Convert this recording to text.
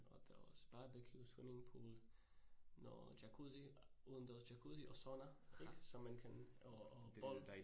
Og der også barbeque, swimmingpool, noget jacuzzi, udendørs jacuzzi og sauna ik så man kan og og bold